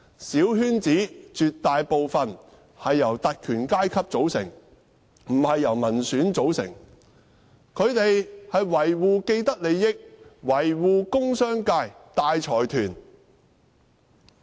小圈子絕大部分由特權階級組成，不是由民選組成，他們維護既得利益，維護工商界和大財團。